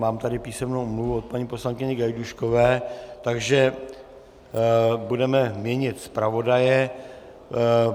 Mám tady písemnou omluvu od paní poslankyně Gajdůškové, takže budeme měnit zpravodaje.